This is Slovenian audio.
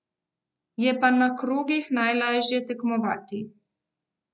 Je pa na krogih najlažje tekmovati.